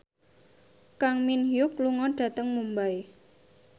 Kang Min Hyuk lunga dhateng Mumbai